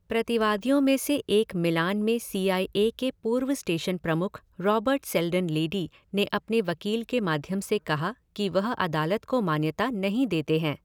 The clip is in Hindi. प्रतिवादियों में से एक मिलान में सी आई ए के पूर्व स्टेशन प्रमुख, रॉबर्ट सेल्डन लेडी, ने अपने वकील के माध्यम से कहा कि वह अदालत को मान्यता नहीं देते हैं।